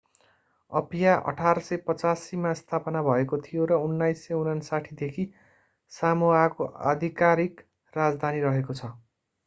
Apia 1850मा स्थापना भएको थियो र 1959देखि सामोआको आधिकारिक राजधानी रहेको छ